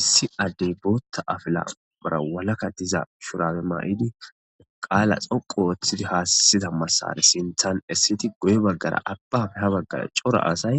Issi addey bootha apila karthara walaka diza mayo mayidi qaala dhoqu oothidi haasiza masara sinthan essidi guye bagara abbappe ha bagara cora asay